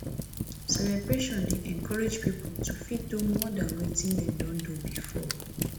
celebration dey encourage pipo to fit do more than wetin dem don do before